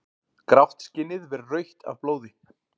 Grátt skinnið verður rautt af blóði.